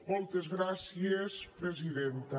moltes gràcies presidenta